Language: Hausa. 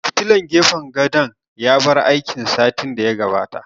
Fitilan gefen gadon ya bar aiki satin da ya gabata